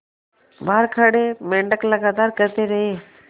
बाहर खड़े मेंढक लगातार कहते रहे